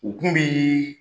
O tun bɛ